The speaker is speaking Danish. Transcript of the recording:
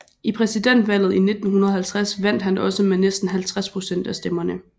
I præsidentvalget i 1950 vandt han også med næsten 50 procent af stemmerne